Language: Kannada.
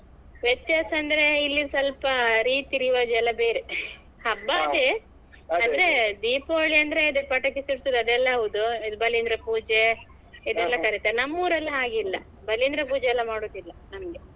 ವ್ಯತ್ಯಾಸ ಅಂದ್ರೆ ಇಲ್ಲಿ ಸ್ವಲ್ಪ ರೀತಿ ರಿವಾಜು ಎಲ್ಲಾ ಬೇರೆ ಹಬ್ಬ ಅದೇ ಅಂದ್ರೆ ದೀಪಾವಳಿ ಅಂದ್ರೆ ಅದೇ ಪಟಾಕಿ ಸಿಡ್ಸುದು ಅದೆಲ್ಲಾ ಹೌದು ಬಲಿಂದ್ರ ಪೂಜೆ ಇದೆಲ್ಲಾ ಬರುತ್ತೆ ನಮ್ಮೂರಲ್ಲಿ ಹಾಗಿಲ್ಲ ಬಲಿಂದ್ರ ಪೂಜೆ ಎಲ್ಲಾ ಮಾಡುದಿಲ್ಲಾ ನಮ್ಗೆ